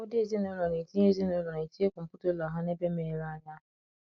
Ụfọdụ ezinụlọ na-etinye ezinụlọ na-etinye kọmputa ụlọ ha n’ebe meghere anya.